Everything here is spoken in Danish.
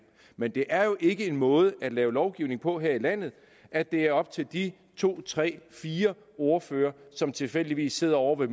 men det er jo ikke en måde at lave lovgivning på her i landet at det er op til de to tre fire ordførere som tilfældigvis sidder ovre